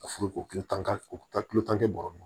A furu ko kilo tan o ta kilo tan kɛ bɔrɔ kɔnɔ